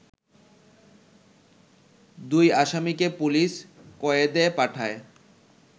দুই আসামিকে পুলিশ কয়েদে পাঠায়